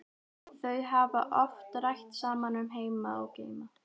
Þau hafa oft rætt saman um heima og geima.